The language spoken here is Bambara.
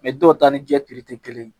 dɔw ta ni jɛ tɛ kelen ye